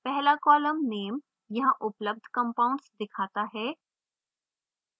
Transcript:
पहला column name यहाँ उपलब्ध compounds दिखाता है